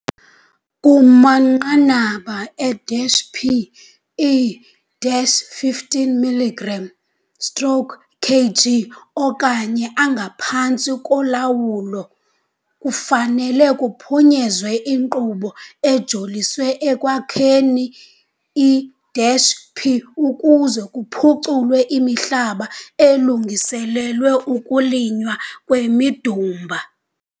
Kumanqanaba e-P e-15 mg stroke kg okanye angaphantsi kulawo, kufanele ukuphunyezwa inkqubo ejoliswe ekwakheni i-P, ukuze kuphuculwe imihlaba elungiselelwe ukulinywa kwemidumba.